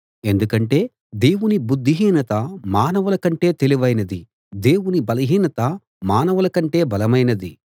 ఎందుకంటే దేవుని బుద్ధిహీనత మానవుల కంటే తెలివైనది దేవుని బలహీనత మానవుల కంటే బలమైనది